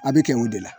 A bɛ kɛ o de la